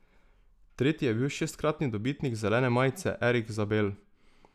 Tretji je bil šestkratni dobitnik zelene majice Erik Zabel.